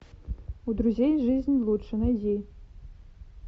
у друзей жизнь лучше найди